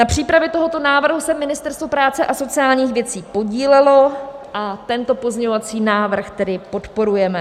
Na přípravě tohoto návrhu se Ministerstvo práce a sociálních věcí podílelo a tento pozměňovací návrh tedy podporujeme.